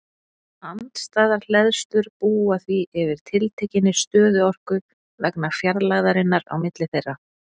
Andstæðar hleðslur búa því yfir tiltekinni stöðuorku vegna fjarlægðarinnar á milli þeirra.